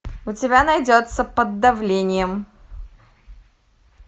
у тебя найдется под давлением